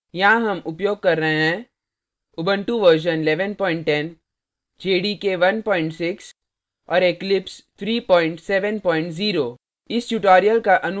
यहाँ हम उपयोग कर रहे हैं